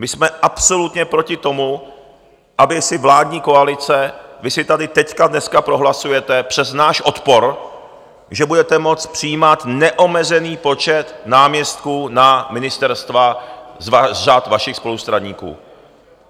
My jsme absolutně proti tomu, aby si vládní koalice, vy si tady teď dneska prohlasujete přes náš odpor, že budete moct přijímat neomezený počet náměstků na ministerstva z řad vašich spolustraníků.